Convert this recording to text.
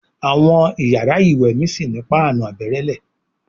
Àwọn iyàrá ìwé mí sí ní Páànù àbẹ̀rẹ̀lé.